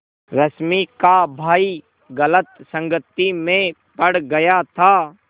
रश्मि का भाई गलत संगति में पड़ गया था